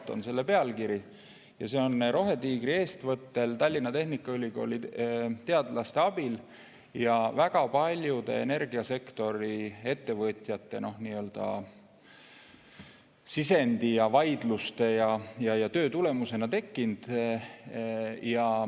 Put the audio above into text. See on analüüsi pealkiri ja see analüüs on tekkinud Rohetiigri eestvõttel Tallinna Tehnikaülikooli teadlaste abil ja väga paljude energiasektori ettevõtjate antud sisendi ja vaidluste tulemusena.